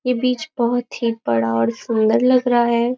यह बीच बहुत ही बड़ा और सुंदर लग रहा है।